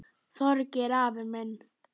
Þorgeir afi minn.